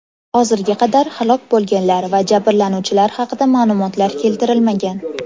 Hozirga qadar halok bo‘lganlar va jabrlanuvchilar haqida ma’lumotlar keltirilmagan.